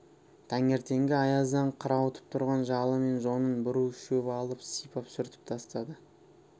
таңертеңгі аяздан қырауытып тұрған жалы мен жонын бір уыс шөп алып сипап сүртіп тастады